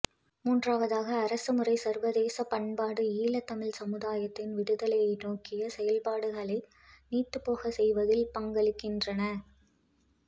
மூன்றாவதாக அரசு முறை சர்வதேச பண்பாடு ஈழத்தமிழ் சமுதாயத்தின் விடுதலை நோக்கிய செயற்பாடுகளை நீத்துப்போக செய்வதில் பங்களிக்கின்றன